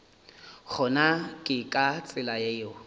gona ke ka tsela yeo